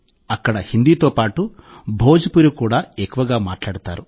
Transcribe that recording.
అక్కడ హిందీతో పాటు భోజ్పురి కూడా ఎక్కువగా మాట్లాడతారు